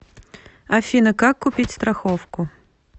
афина как купить страховку